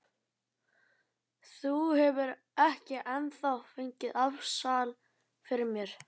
Þú hefur ekki ennþá fengið afsal fyrir mér.